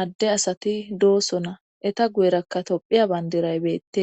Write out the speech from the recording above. adde asati doosona eta guyerakka tophiya bandiraybeettee.